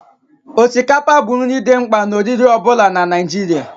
Osikapa bụ nri dị mkpa na oriri ọ bụla na Naịjirịa